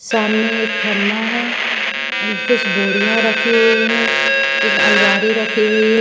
सामने एक खम्बा है और कुछ बोरिया राखी हुई है एक अलमारी रखी हुई है।